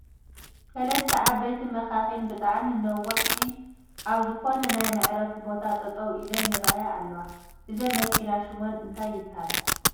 ሰለስተ ዓበይቲ መኻኺን ብጣዕሚ ነዋሕቲ ኣብ ዝኾነ ናይ መዕረፊ ቦታ ጠጠው ኢለን ይረኣያ ኣለዋ ፡ እዘን መኪና ሹመን እንታይ ይበሃላ ?